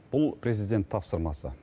бұл президент тапсырмасы